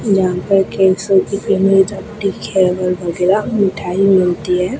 जहां पर घेवर वगैरा मिठाई मिलती है।